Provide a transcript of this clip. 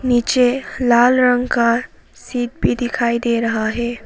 नीचे लाल रंग का सीट भी दिखाई दे रहा है।